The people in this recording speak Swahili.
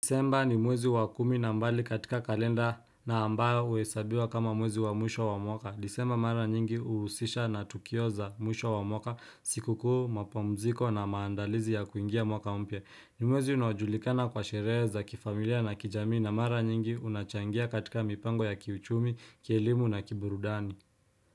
Disemba ni mwezi wa kumi na mbali katika kalenda na ambayo uesabiwa kama mwezi wa mwisho wa mwaka. Disemba mara nyingi uusisha na tukio za mwisho wa mwaka siku kuu mapumziko na maandalizi ya kuingia mwaka mpya. Nimwezi unajulikana kwa shere za kifamilia na kijami na mara nyingi unachangia katika mipango ya kiuchumi, kielimu na kiburudani.